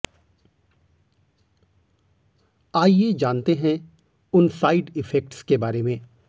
आइये जानते हैं उन साइड इफेक्ट्स के बारे में